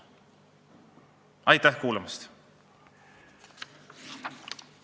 Aitäh kuulamast!